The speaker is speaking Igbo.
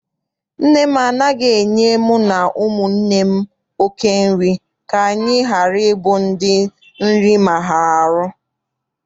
Nne m anaghị enye mu na ụmụnne m oké nri ka anyị ghara ịbụ ndị nri maara ahụ.